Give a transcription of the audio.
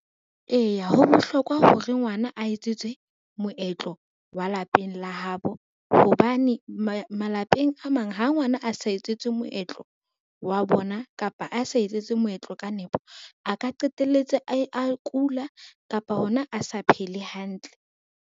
Eya ho bohlokwa hore ngwana a etsetswe moetlo wa lapeng la habo, hobane malapeng a mang ha ngwana a sa etsetswe moetlo wa bona kapa a sa etsetswe moetlo ka nepo, a ka qetelletse a kula kapa hona a sa phele hantle.